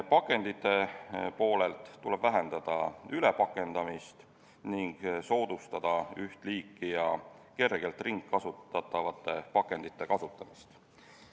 Pakendiprobleemi lahendamiseks tuleb vähendada ülepakendamist ning soodustada üht liiki ja kergelt ringkasutatavate pakendite kasutamist.